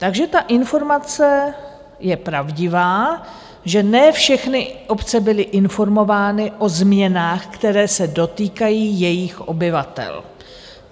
Takže ta informace je pravdivá, že ne všechny obce byly informovány o změnách, které se dotýkají jejich obyvatel.